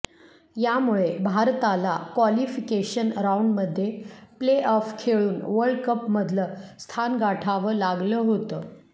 यामुळे भारताला क्वालिफिकेशन राऊंडमध्ये प्ले ऑफ खेळून वर्ल्ड कपमधलं स्थान गाठावं लागलं होतं